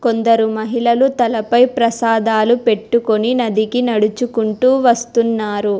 కొందరు మహిళలు తలపై ప్రసాదాలు పెట్టుకుని నదికి నడుచుకుంటూ వస్తున్నారు.